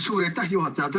Suur aitäh, juhataja!